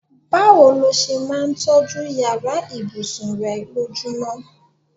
Báwo ló s̩e máa ń tó̩jú yàrá ìbùsùn re̩ lójúmo̩?